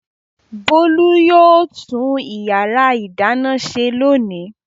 Bólú yóò tún ìyàrá-ìdáná ṣe lónìí.